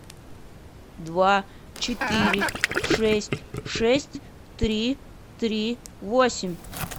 два четыре шесть шесть три три восемь